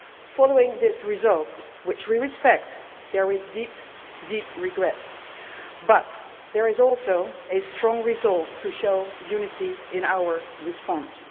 Following this result, which we respect, there is deep, deep regret but there is also a strong resolve to show unity in our response.